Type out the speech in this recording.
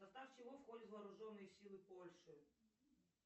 в состав чего входят вооруженные силы польши